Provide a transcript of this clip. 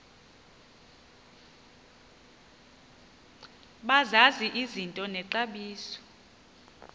bazazi izinto nexabiso